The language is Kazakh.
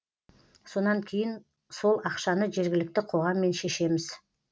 сонан кейін сол ақшаны жергілікті қоғаммен шешеміз